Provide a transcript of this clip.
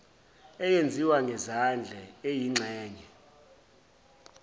eyenziwa ngezandla eyingxenye